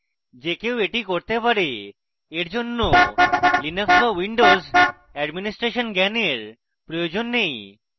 যে কেউ এটি করতে পারে এই জন্য linux be windows এডমিন্সট্রেশন জ্ঞানের প্রয়োজন নেই